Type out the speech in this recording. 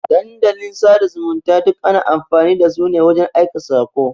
Dandalin sada zumunta duk ana amfani dasu ne wajan aika sako.